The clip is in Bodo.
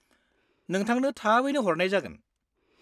-नोंथांनो थाबैनो हरनाय जागोन!